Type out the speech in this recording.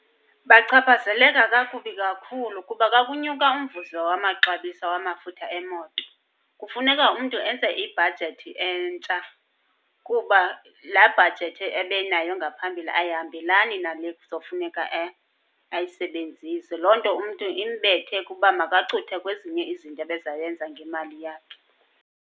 Bachaphazeleka kakubi kakhulu, kuba ka kunyuka umvuzo wamaxabiso wamafutha emoto kufuneka umntu enze ibhajethi entsha kuba laa bhajethi ebenayo ngaphambili ayihambelani nale kuzofuneka ayisebenzise. Loo nto umntu imbethe kuba makacuthe kwezinye izinto ebezayenza ngemali yakhe.